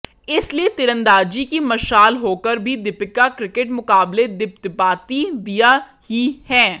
इसलिए तीरंदाजी की मशाल होकर भी दीपिका क्रिकेट मुकाबले दिपदिपाती दीया ही हैं